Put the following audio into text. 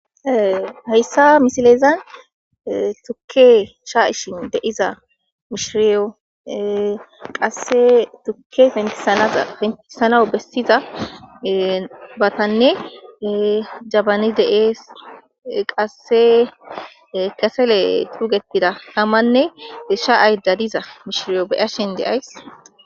Hayssa misileza thukke shaa7ishin de7iza mishiriyo qassi thukke penththissanawu bessidabathane jabani de7ees; qassi kasale xuugeththida thamanne shaa7aydda diza mishiriyo be7ashen de7ays.